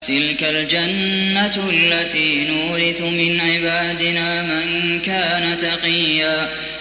تِلْكَ الْجَنَّةُ الَّتِي نُورِثُ مِنْ عِبَادِنَا مَن كَانَ تَقِيًّا